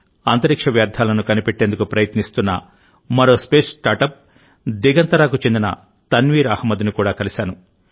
అంతరిక్ష వ్యర్థాలను కనిపెట్టేందుకు ప్రయత్నిస్తున్న మరో స్పేస్ స్టార్టప్ దిగంతరాకు చెందిన తన్వీర్ అహ్మద్ని కూడా కలిశాను